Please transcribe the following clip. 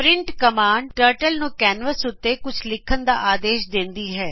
print command turtle ਨੂੰ canvas ਉੱਤੇ ਕੁੱਝ ਲਿੱਖਣ ਦਾ ਆਦੇਸ਼ ਦੇੰਦੀ ਹੈ